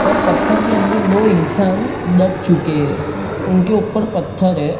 और पत्थर के अंदर दो इंसान दब चुके उनके ऊपर पत्थर है।